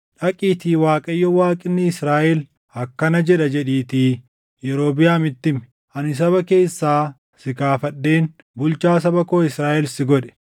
Dhaqiitii Waaqayyo Waaqni Israaʼel akkana jedha jedhiitii Yerobiʼaamitti himi: ‘Ani saba keessaa si kaafadheen bulchaa saba koo Israaʼel si godhe.